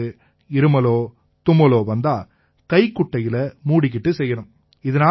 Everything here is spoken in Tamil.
உங்களுக்கு இருமலோ தும்மலோ வந்தா கைக்குட்டையில மூடிக்கிட்டு செய்யணும்